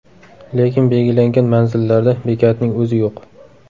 Lekin belgilangan manzillarda bekatning o‘zi yo‘q.